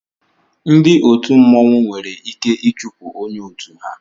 Ndị òtù mmọnwụ nwere ike ichupu ónyé ọtú ha.